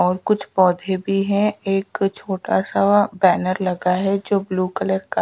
और कुछ पौधे भी हे एक छोटा सा बैनर लगा है जोकी ब्लू कलर का--